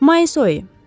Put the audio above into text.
Ma.